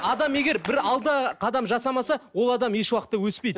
адам егер бір алдыға қадам жасамаса ол адам еш уақытта өспейді